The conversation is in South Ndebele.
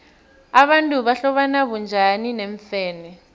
abantu bahlobana bunjani neemfene